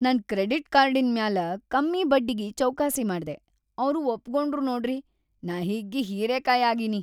ನನ್‌ ಕ್ರೆಡಿಟ್‌ ಕಾರ್ಡಿನ್‌ ಮ್ಯಾಲ ಕಮ್ಮಿ ಬಡ್ಡಿಗಿ ಚೌಕಾಸಿ ಮಾಡ್ದೆ, ಅವ್ರು ಒಪಗೊಂಡ್ರು ನೋಡ್ರಿ, ನಾ ಹಿಗ್ಗಿ ಹೀರಿಕಾಯಿ ಆಗಿನಿ.